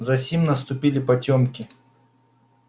засим наступили потёмки